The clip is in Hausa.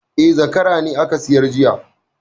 E, zakara ne aka sayar jiya